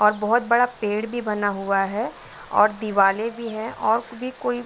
और बोहोत बड़ा पेड़ भी बना हुआ है और दीवालें भी है और भी कोई --